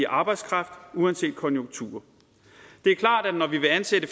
arbejdskraft uanset konjunkturer det er klart at når vi vil ansætte